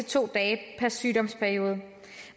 to dage per sygdomsperiode